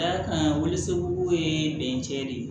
Ka d'a kan waliso ye bɛncɛ de ye